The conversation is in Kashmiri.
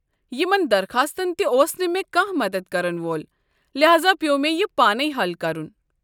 یِمَن درخاستن تہِ اوس نہٕ مےٚ كانہہ مدتھ كرن وول، لحاذا پیوٚو مےٚ یہِ پانے حل کرُن۔